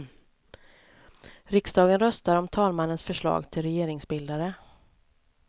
Riksdagen röstar om talmannens förslag till regeringsbildare.